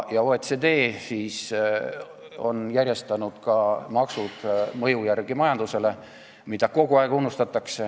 OECD on järjestanud maksud mõju järgi majandusele, mida kogu aeg unustatakse.